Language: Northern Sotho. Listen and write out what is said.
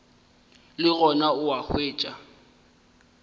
le gona o a hwetšwa